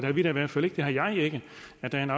tage en